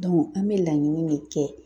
an bɛ laɲini min kɛ